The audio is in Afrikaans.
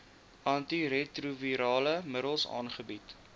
antiretrovirale middels aangebied